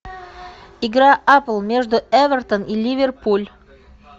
игра апл между эвертон и ливерпуль